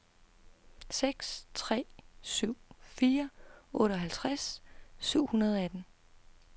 seks tre syv fire otteoghalvtreds syv hundrede og atten